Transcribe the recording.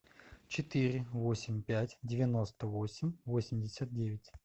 четыре восемь пять девяносто восемь восемьдесят девять